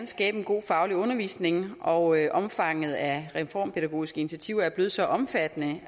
skabe en god faglig undervisning og omfanget af reformpædagogiske initiativer er blevet så omfattende